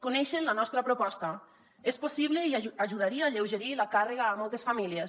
coneixen la nostra proposta és possible i ajudaria a alleugerir la càrrega a moltes famílies